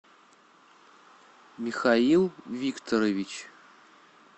михаил викторович